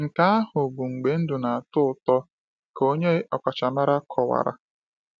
“Nke ahụ bụ mgbe ndụ na-atọ ụtọ,” ka onye ọkachamara kọwara.